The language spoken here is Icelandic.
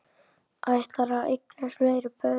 Ætlarðu að eignast fleiri börn?